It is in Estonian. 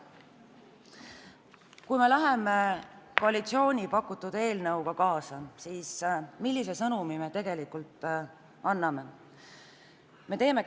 Kui me koalitsiooni pakutud eelnõu heaks kiidame, siis millise sõnumi me tegelikult anname?